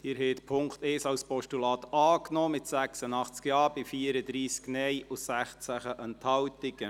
Sie haben den Punkt 1 als Postulat angenommen, mit 86 Ja- gegen 34 Nein-Stimmen bei 16 Enthaltungen.